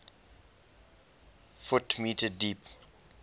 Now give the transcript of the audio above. ft m deep